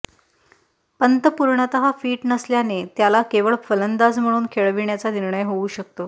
पंत पूर्णतः फिट नसल्याने त्याला केवळ फलंदाज म्हणून खेळविण्याचा निर्णय होऊ शकतो